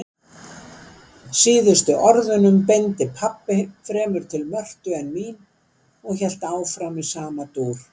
Síðustu orðunum beindi pabbi fremur til Mörtu en mín og hélt áfram í sama dúr